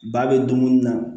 Ba bɛ dumuni na